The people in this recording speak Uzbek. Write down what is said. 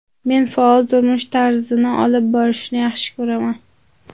Men faol turmush tarzini olib borishni yaxshi ko‘raman.